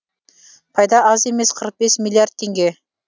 пайда аз емес қырық бес миллиард теңге